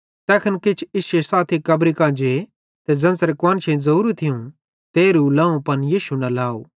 तैखन किछ इश्शे साथी भी कब्री कां जे ते ज़ेन्च़रे कुआन्शेईं ज़ोरू थियूं तेरहू लाव पन यीशु न लाव